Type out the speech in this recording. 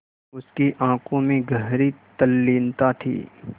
उसकी आँखों में गहरी तल्लीनता थी